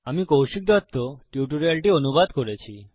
আমি কৌশিক দত্ত টিউটোরিয়ালটি অনুবাদ করেছি